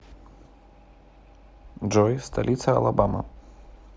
джой столица алабама